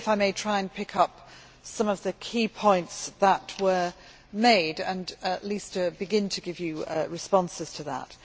I will, if I may, try and pick up some of the key points that were made and at least begin to give you responses to that.